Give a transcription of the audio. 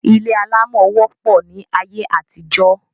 Ilé alámọ̀ wopọ̀ ní ayé àtijọ́